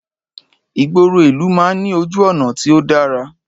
Ìgboro ìlú man ní ojú ònà tí o dara